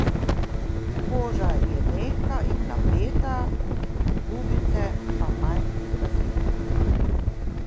Koža je mehka in napeta, gubice pa manj izrazite.